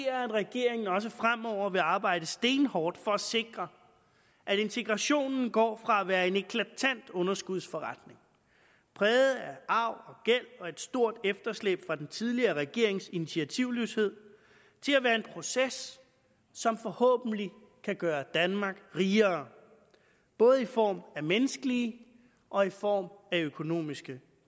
at regeringen også fremover vil arbejde stenhårdt for at sikre at integrationen går fra at være en eklatant underskudsforretning præget af arv og og et stort efterslæb fra den tidligere regerings initiativløshed til at være en proces som forhåbentlig kan gøre danmark rigere både i form af menneskelige og i form af økonomiske